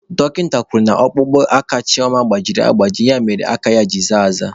Dọkịta kwuru na ọkpụkpụ aka Chioma gbajiri agbaji ya mere aka ya ji zaa aza.